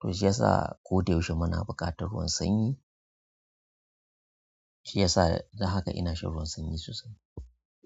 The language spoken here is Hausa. to shi ya sa koyaushe muna buƙatar ruwan sanyi. Shi ya sa don haka ina shan ruwan sanyi sosai.